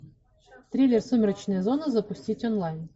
триллер сумеречная зона запустить онлайн